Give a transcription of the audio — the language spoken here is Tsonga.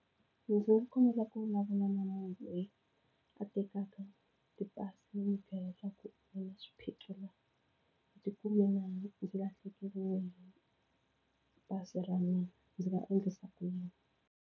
Loko ndzi kombela ku vulavula na munhu loyi a tekaka ti-passenger leswaku ti na swiphiqo na. lahlekeriwe hi pasi ra mina, ndzi nga endlisa ku yin?